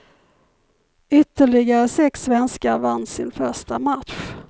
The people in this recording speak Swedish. Ytterligare sex svenskar vann sin första match.